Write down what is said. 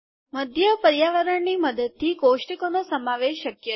મધ્ય પર્યાવરણની મદદથી કોષ્ટકોનો સમાવેશ શક્ય છે